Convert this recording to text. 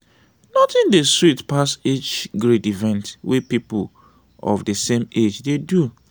nothing de sweet pass age grade event wey people of de same age dey do.